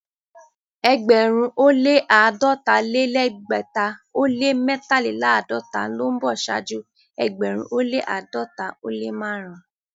Ẹgbẹ̀rún ó lẹ́ àádọ́ta-lé-lẹ́gbẹ̀ta ó lẹ́ mẹ́tàléláàdọ́ta ló ń bọ̀ ṣáájú ẹgbẹ̀rún ó lẹ́ àádọ́ta ó lẹ́ márùn-ún.